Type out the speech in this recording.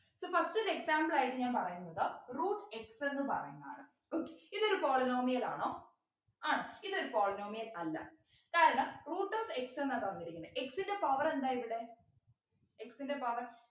So first ഒരു example ആയിട്ട് ഞാൻ പറയുന്നത് root x എന്നു പറയുന്ന ആണ് okay ഇതൊരു polynomial ആണോ ആണ് ഇതൊരു polynomial അല്ല കാരണം root of x എന്ന തന്നിരിക്കുന്നേ x ൻ്റെ power എന്താ ഇവിടെ x ൻ്റെ power